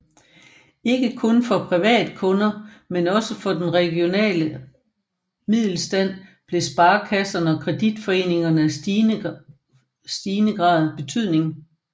Ikke kun for privatkunder men også for den regionale middelstand blev sparekasserne og kreditforeningerne af stigende betydning